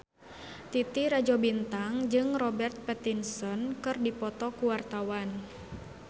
Titi Rajo Bintang jeung Robert Pattinson keur dipoto ku wartawan